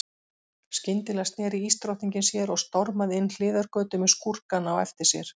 Skyndilega sneri ísdrottningin sér og stormaði inn hliðargötu með skúrkana á eftir sér.